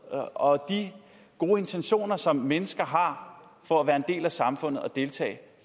og gode intentioner som mennesker har for at være en del af samfund og deltage